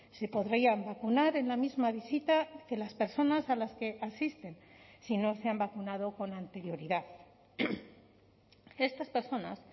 se podrían vacunar en la misma visita que las personas a las que asisten si no se han vacunado con anterioridad estas personas